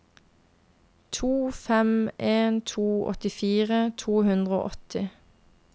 to fem en to åttifire to hundre og åtti